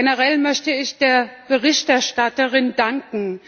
Generell möchte ich der Berichterstatterin danken.